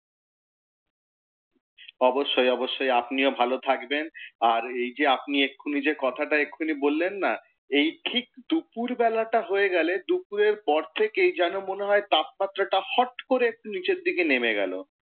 অবশ্যই অবশ্যই আপনিও ভালো থাকবেন। আর এই যে আপনি এখুনি যে কথাটা এখুনি বললেন না, এই ঠিক দুপুর বেলাটা হয়ে গেলে দুপুরের পর থেকেই যেন মনে হয় তাপমাত্রাটা হট করে একটু নিচের দিকে নেমে গেলো।